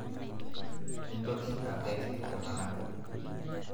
Mintok adek iltung'anak